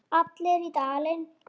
Allir í Dalinn!